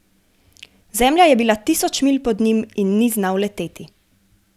Zemlja je bila tisoč milj pod njim in ni znal leteti.